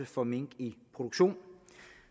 for mink i produktion